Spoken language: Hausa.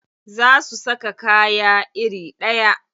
Za su saka kaya iri ɗaya.